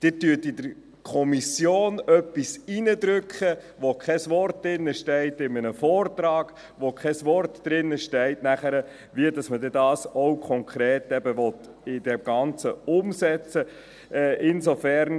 Sie drücken in der Kommission etwas hinein, wozu im Vortrag kein Wort steht, wozu auch kein Wort steht, wie man das Ganze dann konkret umsetzen will.